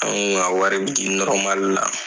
An kun ka wari bi di la.